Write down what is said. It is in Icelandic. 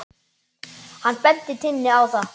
Hann benti Tinnu á það.